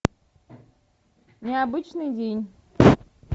необычный день